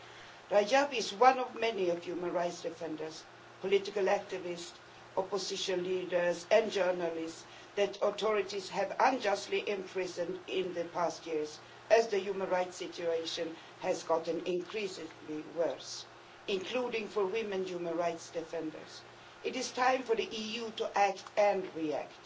Nabeel Rajab is one of many human rights defenders, political activists, opposition leaders and journalists that the authorities have unjustly imprisoned in the past years as the human rights situation has got increasingly worse, including for female human rights defenders. It is time for the EU to act and react.